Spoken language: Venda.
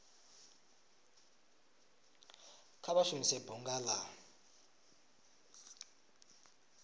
kha vha shumise bunga la